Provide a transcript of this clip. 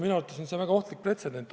Minu arvates on see väga ohtlik pretsedent.